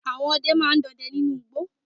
Àwọn ọdẹ ma ń dọdẹ nínú igbó.